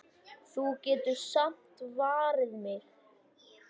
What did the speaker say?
Þú getur samt varið mig.